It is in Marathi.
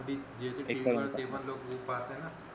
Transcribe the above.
पाहत आहे ना